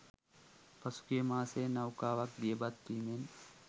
පසුගිය මාසයේ නෞකාවක් දියබත් වීමෙන්